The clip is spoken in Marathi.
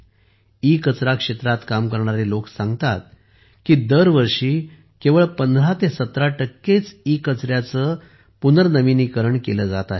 ईकचरा क्षेत्रात काम करणारे लोक सांगतात की दरवर्षी केवळ 1517 टक्के ईकचऱ्याचे रिसायकल पुनर्नविनीकरण केले जात आहे